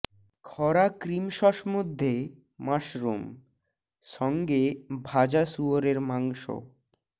খরা cream sauce মধ্যে mushroom সঙ্গে ভাজা শুয়োরের মাংস